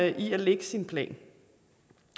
i at lægge sin plan